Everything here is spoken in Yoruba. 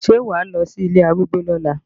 Ṣé wà á lọ sí ilé arúgbó lọ́la?